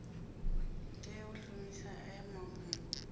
tea u shumisa aya mafhungo